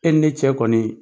E ni ne cɛ kɔni